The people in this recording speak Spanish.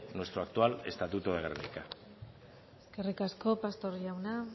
nuestro actual estatuto de gernika eskerrik asko pastor jauna